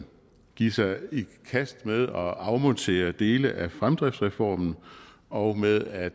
give sig i kast med at afmontere dele af fremdriftsreformen og med at